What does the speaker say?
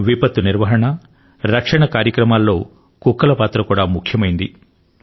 విపత్తు నిర్వహణ రక్షణ కార్యక్రమాల్లో కుక్కల పాత్ర కూడా ముఖ్యమైంది